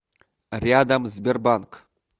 рядом сбербанк